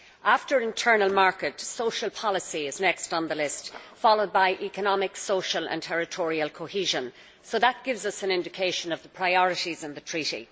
After the internal market, social policy is the next on the list, followed by economic, social and territorial cohesion. That gives an indication of the priorities in the treaty.